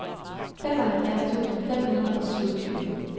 femoghalvfjerds tusind fem hundrede og syvogtyve